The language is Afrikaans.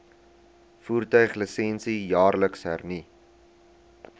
voertuiglisensie jaarliks hernu